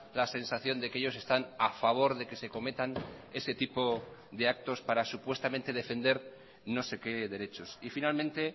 la sensación de que ellos están a favor de que se cometan ese tipo de actos para supuestamente defender no sé qué derechos y finalmente